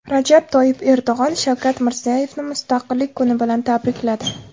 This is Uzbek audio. Rajab Toyyib Erdo‘g‘on Shavkat Mirziyoyevni Mustaqillik kuni bilan tabrikladi.